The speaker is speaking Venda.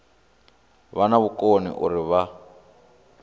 vha na vhukoni uri vha